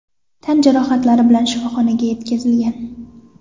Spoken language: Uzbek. tan jarohatlari bilan shifoxonaga yetkazilgan.